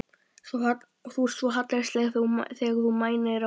Þú ert svo hallærislegur þegar þú mænir á Gerði.